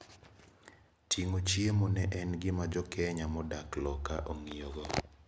Tingo chiemo ne en gima jokenya modak loka ongiyo go.